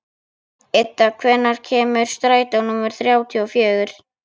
Idda, hvenær kemur strætó númer þrjátíu og fjögur?